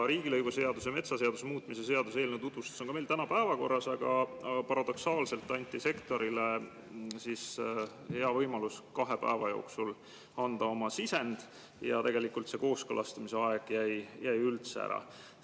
Riigilõivuseaduse ja metsaseaduse muutmise seaduse eelnõu tutvustus on ka meil täna päevakorras, aga paradoksaalselt anti sektorile hea võimalus anda oma sisend kahe päeva jooksul ja tegelikult kooskõlastamise aeg jäi üldse ära.